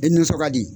E nansɔn ka di